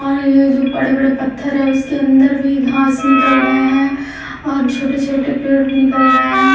और ये जो बड़े-बड़े पत्थर है उसके अंदर भी घास निकल गए हैं और छोटे-छोटे पेड़ भी निकल गए हैं।